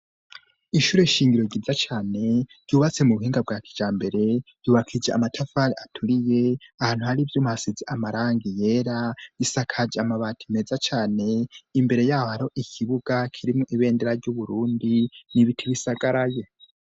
Ishure shingiro ryiza cane, ryubatse mu buhinga bwa kijambere, ryubakije amatafari aturiye, ahantu hari ivyuma hasize amarangi yera, isakaje amabati meza cane, imbere ya ho hariho ikibuga kirimwo ibendera ry'Uburundi, n'ibiti bisagaraye.